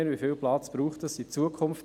Wie viel Platz braucht das in Zukunft?